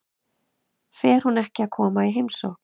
Fer hún ekki að koma í heimsókn?